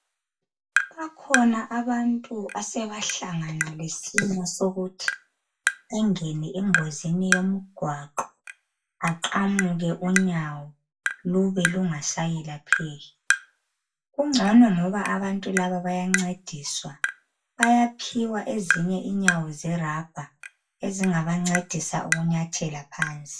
Bakhona abantu asebahlangana lesimo sokuthi engene engozini yomgwaqo aqamuke unyawo lube lungasayelapheki kungcono ngoba abantu laba bayangcediswa bayaphiwa ezinye inyawo zerabha ezingabangcedisa ukunyathela phansi